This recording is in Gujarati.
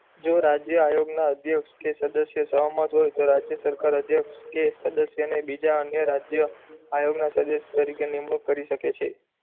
જો રાજ્ય આયોગ ના અધ્યક્ષ કે સદસ્ય સહમત હોય તો રાજ્ય સરકાર અધ્યક્ષ કે સદસ્ય ને બીજા ને રાજ્ય આયોગ ના તરીકે નિવૃત્ત કરી સકે સકે છે